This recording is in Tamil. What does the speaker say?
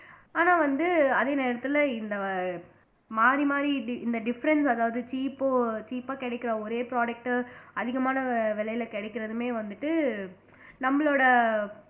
ஆனா வந்து அதே நேரத்துல இந்த மாறி மாறி இந்த difference அதாவது cheap ஓ cheap ஆ கிடைக்கிற ஒரே product அதிகமான வி விலையில கிடைக்கறதுமே வந்துட்டு நம்மளோட